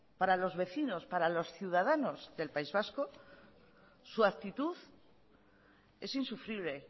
para los vecinos para los ciudadanos del país vasco su actitud es insufrible